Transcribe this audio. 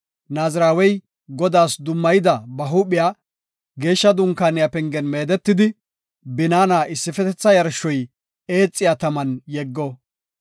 Naazirawey Godaas dummayida ba huuphiya Geeshsha Dunkaaniya pengen meedetidi, binaana issifetetha yarshoy eexiya taman yeggo.